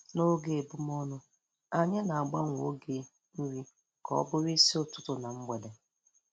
N'oge ebumọnụ, anyị na-agbanwe oge nri ka ọ bụrụ n'isi ụtụtụ na mgbede.